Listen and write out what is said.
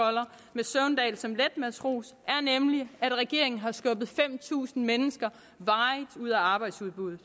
med søvndal som letmatros er nemlig at regeringen har skubbet fem tusind mennesker varigt ud af arbejdsudbuddet